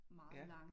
Ja